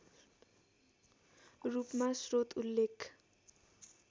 रूपमा स्रोत उल्लेख